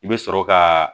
I bɛ sɔrɔ ka